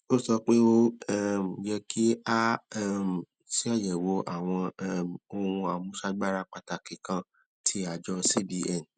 ó sọ pé ó um yẹ kí a um ṣàyèwò àwọn um ohun àmúṣagbára pàtàkì kan tí àjọ cbn